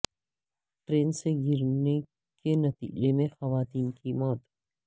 train سے گرنے کے نتیجہ میں خاتون کی موت